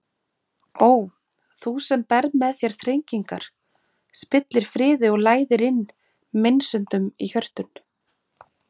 Ó þú sem berð með þér þrengingar, spillir friði og læðir inn meinsemdum í hjörtun!